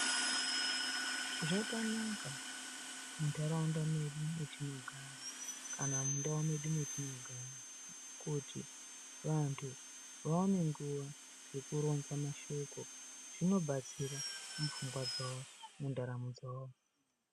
Zvakanaka muntaraunda mwedu matinogara kana mundau medu matinogara kuti vanthu vaone nguva yekuronza mashoko zvinobatsira mupfungwa dzavo, mundaramo dzavo.